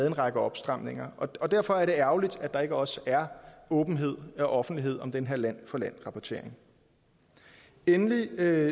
en række opstramninger og derfor er det ærgerligt at der ikke også er åbenhed og offentlighed om den her land for land rapportering endelig